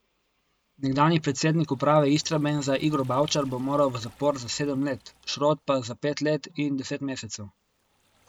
Nekdanji predsednik uprave Istrabenza Igor Bavčar bo moral v zapor za sedem let, Šrot pa za pet let in deset mesecev.